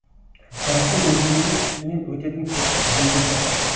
қарасу өзенінің үстінен өтетін көпір жөнделді